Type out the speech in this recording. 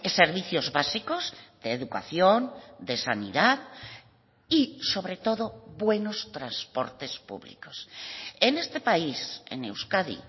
servicios básicos de educación de sanidad y sobre todo buenos transportes públicos en este país en euskadi